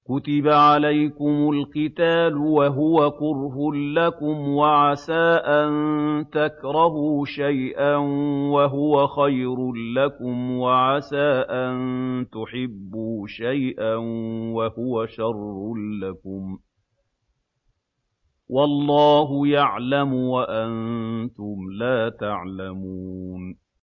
كُتِبَ عَلَيْكُمُ الْقِتَالُ وَهُوَ كُرْهٌ لَّكُمْ ۖ وَعَسَىٰ أَن تَكْرَهُوا شَيْئًا وَهُوَ خَيْرٌ لَّكُمْ ۖ وَعَسَىٰ أَن تُحِبُّوا شَيْئًا وَهُوَ شَرٌّ لَّكُمْ ۗ وَاللَّهُ يَعْلَمُ وَأَنتُمْ لَا تَعْلَمُونَ